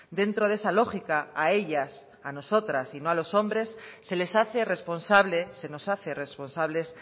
dentro de esa lógica a ellas a nosotras y no a los hombres se les hace responsable se nos hace responsables